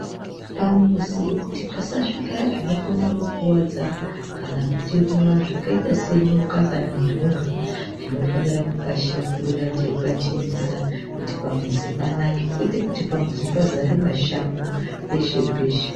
Pamuzi kuti pasasvika zvinokona kukuwadza kana kutiruma zvakaita senyoka kana ndunga tinofanira kupashakurira teipachenesa kuti pamuzi panake kwete kuti pamuzi pazare mashango peshe peshe.